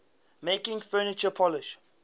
making furniture polish